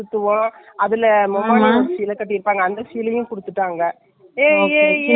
ஹா ஹான் இடைல வருமில்ல ஏ ஏ ஏ ஏ ஏ ஏ ஓ அப்படின்னு சொல்லிட்டு.